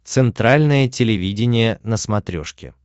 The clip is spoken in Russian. центральное телевидение на смотрешке